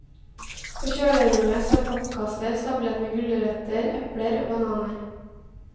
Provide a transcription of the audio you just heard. På kjølerommet står pappkasser stablet med gulrøtter, epler og bananer.